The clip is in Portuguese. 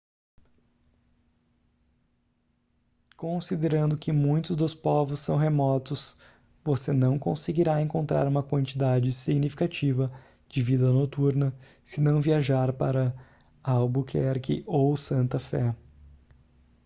considerando que muitos dos povos são remotos você não conseguirá encontrar uma quantidade significativa de vida noturna se não viajar para albuquerque ou santa fé